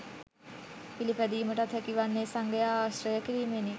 පිළිපැදීමටත් හැකිවන්නේ සංඝයා ආශ්‍රය කිරීමෙනි.